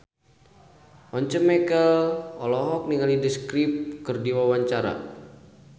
Once Mekel olohok ningali The Script keur diwawancara